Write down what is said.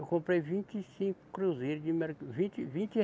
Eu comprei vinte e cinco cruzeiros de merca, vinte, vinte